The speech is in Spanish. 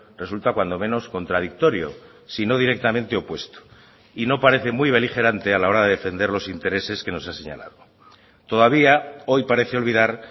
resulta cuando menos contradictorio sino directamente opuesto y no parece muy beligerante a la hora de defender los intereses que nos ha señalado todavía hoy parece olvidar